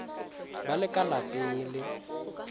ba le ka lapeng le